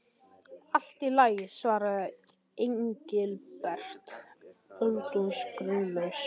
Allt í lagi svaraði Engilbert, öldungis grunlaus.